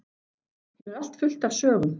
Hér er allt fullt af sögum.